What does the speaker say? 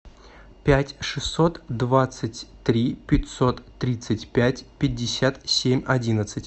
пять шестьсот двадцать три пятьсот тридцать пять пятьдесят семь одиннадцать